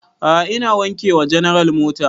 A'a ina wanke wa general mota